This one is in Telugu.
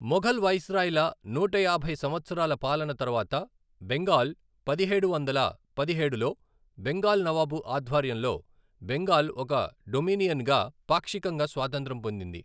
మొఘల్ వైస్రాయ్ల నూటయాభై సంవత్సరాల పాలన తర్వాత, బెంగాల్ పదిహేడు వందల పదిహేడులో బెంగాల్ నవాబు ఆధ్వర్యంలో బెంగాల్ ఒక డొమినియన్గా పాక్షికంగా స్వాతంత్రం పొందింది.